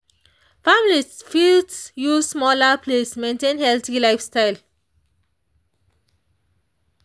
families fit use smaller plates maintain healthy lifestyle.